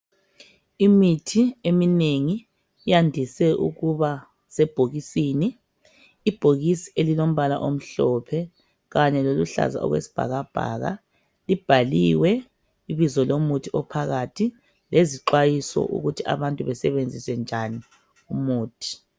Imithi eminengi yandise ukuba sebhokisini, ibhokisi elilombala omhlophe kanye loluhlaza okwesibhakabhaka libhaliwe ibizo lomuthi ophakathi lezixwayiso ukuthi abantu besebenzise njani umuthi